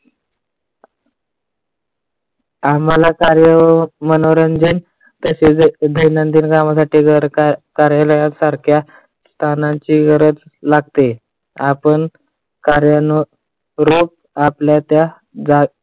आम्हाला कार्य मनोरंजन तसेच दैनंदिन कामासाटी कार्यालयासारखे तानांची गरज लागते. आपण कार्यांनो रोज आपल्या त्या जा